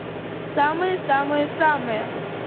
самые самые самые